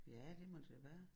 Ja det må det være